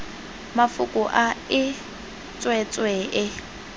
mafoko a e tswetswe e